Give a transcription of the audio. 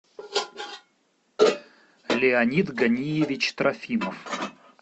леонид ганиевич трофимов